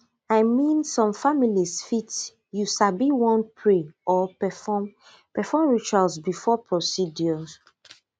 i mean some families fit you sabi wan pray or perform perform rituals before procedures